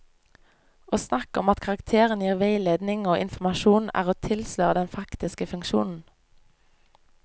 Å snakke om at karakterene gir veiledning og informasjon er å tilsløre den faktiske funksjonen.